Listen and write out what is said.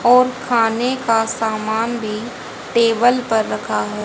और खाने का सामान भी टेबल पर रखा है।